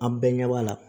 An bɛɛ ɲɛ b'a la